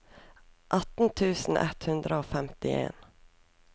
atten tusen ett hundre og femtien